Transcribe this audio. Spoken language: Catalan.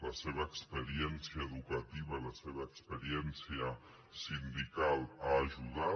la seva experiència educativa la seva experiència sindical ha ajudat